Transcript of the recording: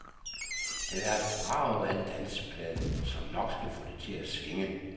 Den er et brag af en danseplade, som nok skal få det til at swinge.